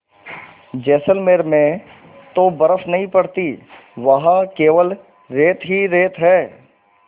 जैसलमेर में तो बर्फ़ नहीं पड़ती वहाँ केवल रेत ही रेत है